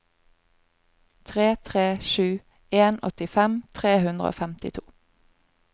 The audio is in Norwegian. tre tre sju en åttifem tre hundre og femtito